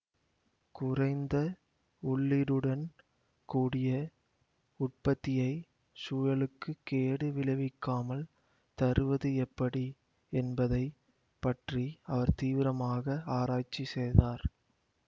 குறைந்த உள்ளீடுடன் கூடிய உற்பத்தியை சூழலுக்கு கேடு விளைவிக்காமல் தருவது எப்படி என்பதை பற்றி அவர் தீவிரமாக ஆராய்ச்சி செய்தார்